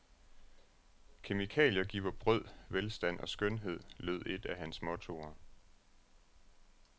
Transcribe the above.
Kemikalier giver brød, velstand og skønhed, lød et af hans mottoer.